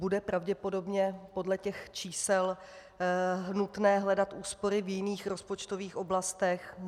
Bude pravděpodobně podle těch čísel nutné hledat úspory v jiných rozpočtových oblastech.